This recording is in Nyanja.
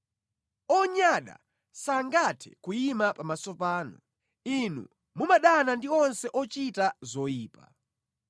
Onyada sangathe kuyima pamaso panu; Inu mumadana ndi onse ochita zoyipa.